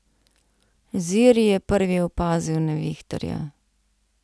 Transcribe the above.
Ziri je prvi opazil nevihtarja.